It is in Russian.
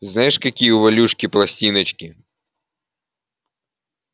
знаешь какие у валюшки пластиночки